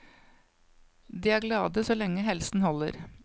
De er glade så lenge helsen holder.